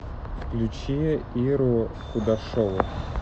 включи иру кудашову